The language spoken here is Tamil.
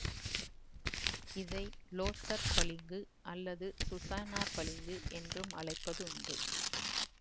இதை லோதர் பளிங்கு அல்லது சுசானா பளிங்கு என்றும் அழைப்பது உண்டு